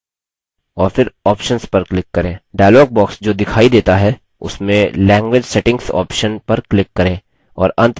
dialog box जो दिखाई देता है उसमें language settings option पर click करें और अंत में languages पर click करें